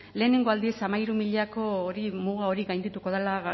lehenengo aldiz hamairu milako muga hori gaindituko dela